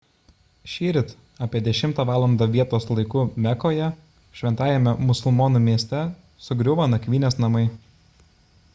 šįryt apie 10 valandą vietos laiku mekoje šventajame musulmonų mieste sugriuvo nakvynės namai